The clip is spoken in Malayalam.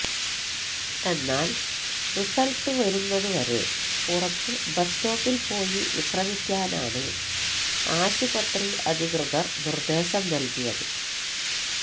എന്നാല് റിസള്ട്ട് വരുന്നത് വരെ പുറത്ത് ബസ് സ്റ്റോപ്പില് പോയി വിശ്രമിക്കാനാണ് ആശുപത്രി അധികൃതര് നിര്ദ്ദേശം നല്കിയത്